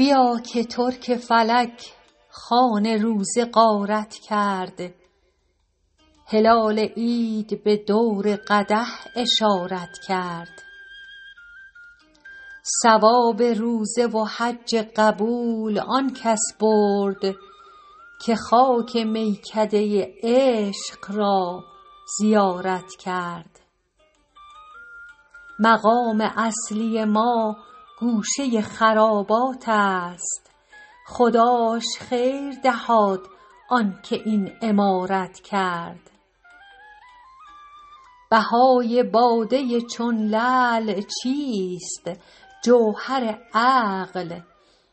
بیا که ترک فلک خوان روزه غارت کرد هلال عید به دور قدح اشارت کرد ثواب روزه و حج قبول آن کس برد که خاک میکده عشق را زیارت کرد مقام اصلی ما گوشه خرابات است خداش خیر دهاد آن که این عمارت کرد بهای باده چون لعل چیست جوهر عقل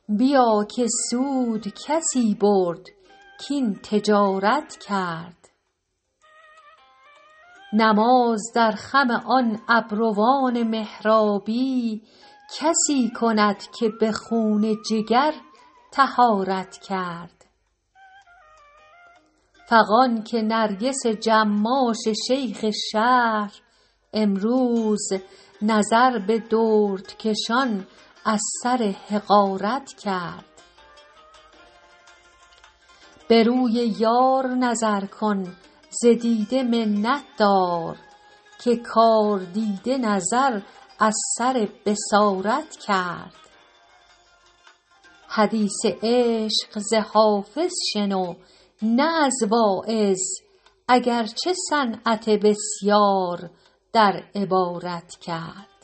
بیا که سود کسی برد کاین تجارت کرد نماز در خم آن ابروان محرابی کسی کند که به خون جگر طهارت کرد فغان که نرگس جماش شیخ شهر امروز نظر به دردکشان از سر حقارت کرد به روی یار نظر کن ز دیده منت دار که کاردیده نظر از سر بصارت کرد حدیث عشق ز حافظ شنو نه از واعظ اگر چه صنعت بسیار در عبارت کرد